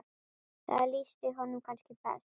Það lýsti honum kannski best.